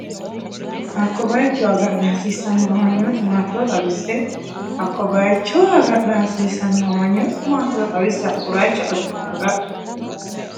Hakko bay- icho agadha hasiissanno amanyooti maatiro xawisse Hakko bay- icho agadha hasiissanno amanyooti maatiro xawisse Hakko bay- icho agadha.